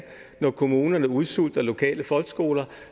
når kommunerne udsulter lokale folkeskoler